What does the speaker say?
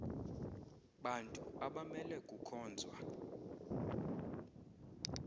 bantu abamele kukhonzwa